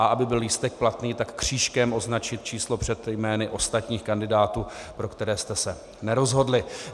A aby byl lístek platný, tak křížkem označit číslo před jmény ostatních kandidátů, pro které jste se nerozhodli.